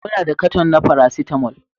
Muna da cartoon na paracetamol